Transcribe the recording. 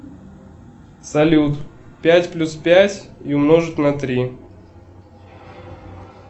салют пять плюс пять и умножить на три